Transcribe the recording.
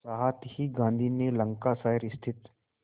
साथ ही गांधी ने लंकाशायर स्थित